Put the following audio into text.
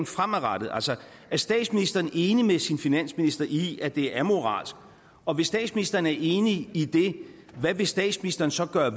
fremadrettet altså er statsministeren enig med sin finansminister i at det er amoralsk og hvis statsministeren er enig i det hvad vil statsministeren så gøre